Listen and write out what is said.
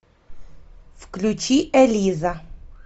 включи элиза